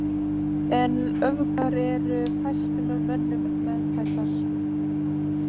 En öfgar eru fæstum mönnum meðfæddar.